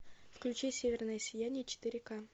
включи северное сияние четыре к